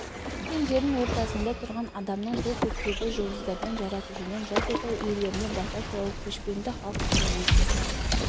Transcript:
көк пен жердің ортасында тұрған адамның сол көктегі жұлдыздардан жаратушыдан жас отау иелеріне бата сұрауы көшпенді халық үшін өте